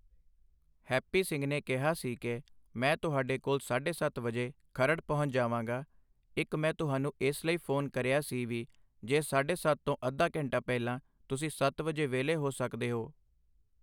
Happy Singh ਨੇ ਕਿਹਾ ਸੀ ਕਿ, ਮੈਂ ਤੁਹਾਡੇ ਕੋਲ ਸਾਢੇ ਸੱਤ ਵਜੇ ਖਰੜ ਪਹੁੰਚ ਜਾਵਾਂਗਾ। ਇੱਕ ਮੈਂ ਤੁਹਾਨੂੰ ਇਸ ਲਈ ਫ਼ੋਨ ਕਰਿਆ ਸੀ ਵੀ ਜੇ ਸਾਢੇ ਸੱਤ ਤੋਂ ਅੱਧਾ ਘੰਟਾ ਪਹਿਲਾਂ ਤੁਸੀਂ ਸੱਤ ਵਜੇ ਵਿਹਲੇ ਹੋ ਸਕਦੇ ਓ